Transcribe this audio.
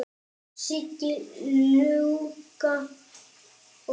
Siggi Illuga og fleiri.